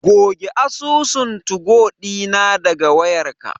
Goge asusun tugo ɗina daga wayarka.